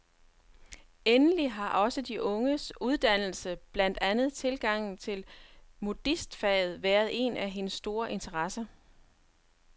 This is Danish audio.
Endelig har også de unges uddannelse, blandt andet tilgangen til modistfaget, været en af hendes store interesser.